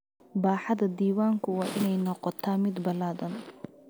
Baaxadda diiwaanku waa inay noqotaa mid ballaadhan.